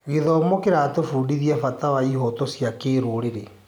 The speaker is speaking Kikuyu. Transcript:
Gĩthomo kĩratũbundithia bata wa ihooto cia kĩrũrĩrĩ.